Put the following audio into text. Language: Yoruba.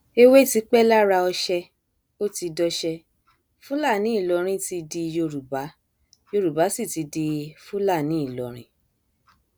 èwe ti pẹ lára ọsẹ ó ti dọṣẹ fúlàní ìlọrin ti di yorùbá yorùbá sì ti di fúlàní ìlọrin